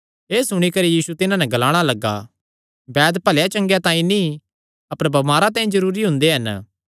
एह़ सुणी करी यीशु तिन्हां नैं ग्लाणा लग्गा बैद भले चंगेया तांई नीं अपर बमारां तांई जरूरी हुंदे हन